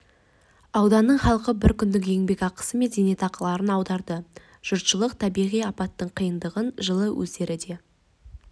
ауданының халқы бір күндік еңбекақы мен зейнетақыларын аударды жұртшылық табиғи апаттың қиындығын жылы өздері де